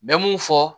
N bɛ mun fɔ